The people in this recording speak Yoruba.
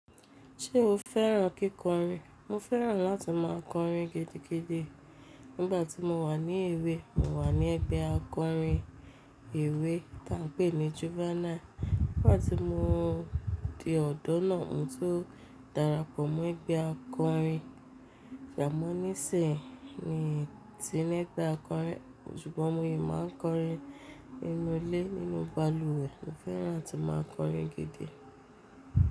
Ṣé o fẹ́ràn kíkọrin? Mo fẹ́ràn láti má a kọrin gidi gidi. Nígbà tí mo wà ní èwe, mo wà ní ẹgbẹ́ akọrin èwe tá a ń pè ní juvenile. Nígbà tí mo di ọ̀dọ́ náà ni n tó darapọ̀ mọ́ ẹgbẹ́ akọrin jàmónísì ni ti mẹ́ta akọrin. Ṣùgbọ́n mo yèé má a ń kọrin inú ilé nínú balùwẹ̀. Mo fẹ́ràn tí má a kọrin gidi.